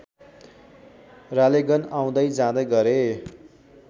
रालेगन आउँदै जाँदै गरे